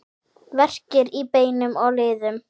Verkir í beinum og liðum